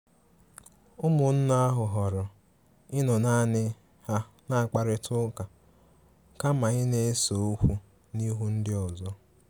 Ụmụnne ahụ họọrọ ịnọ naani ha na-akparita ụka kama ịna-ese okwu n'ihu ndi ọzọ.